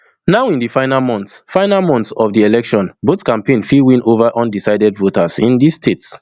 now in di final months final months of di election both campaigns fit win ova undecided voters in dis states